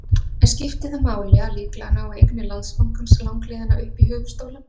En skiptir það máli að líklega nái eignir Landsbankans langleiðina upp í höfuðstólinn?